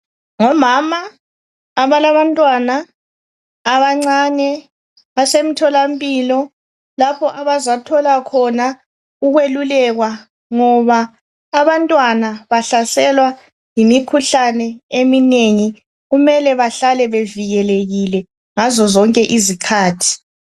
ngomama abalantwana kusemthola lapha abazo thola khona ukuyelulekwa abantwana bahlaselwa yimikhuhlane eminengi yingakho kumelel behlale bevikelekiwe ngazo zonke izikhathi